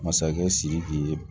Masakɛ sidiki ye